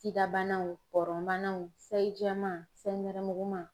SIDA banaw pɔrɔn banaw sayi jɛman sayi nɛrɛmuguma.